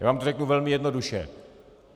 Já vám to řeknu velmi jednoduše.